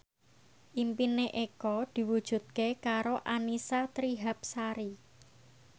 impine Eko diwujudke karo Annisa Trihapsari